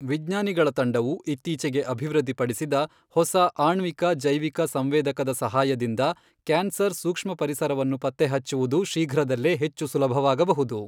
ವಿಜ್ಞಾನಿಗಳ ತಂಡವು ಇತ್ತೀಚೆಗೆ ಅಭಿವೃದ್ಧಿಪಡಿಸಿದ ಹೊಸ ಆಣ್ವಿಕ ಜೈವಿಕ ಸಂವೇದಕದ ಸಹಾಯದಿಂದ ಕ್ಯಾನ್ಸರ್ ಸೂಕ್ಷ್ಮ ಪರಿಸರವನ್ನು ಪತ್ತೆಹಚ್ಚುವುದು ಶೀಘ್ರದಲ್ಲೇ ಹೆಚ್ಚು ಸುಲಭವಾಗಬಹುದು.